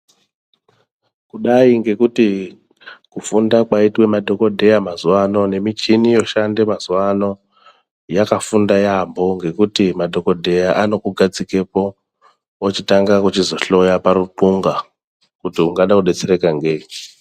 Kudai ngekuti kufunda kwaitwe madhokodheya mazuwa ano, nemichini yoshanda mazuwa ano, yakafunda yaampho ngekuti madhokodheya anokugadzikepo, ochitanga kuchizokuhloya paruxunga, kuti ungada kudetsereka ngeyi.